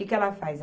Que que ela faz?